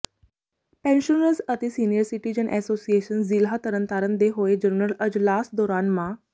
pensioners ਅਤੇ senior citizen association ਜ਼ਿਲ੍ਹਾ ਤਰਨਤਾਰਨ ਦੇ ਹੋਏ ਜਨਰਲ ਅਜਲਾਸ ਦੌਰਾਨ ਮਾ